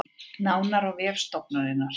Nánar á vef stofnunarinnar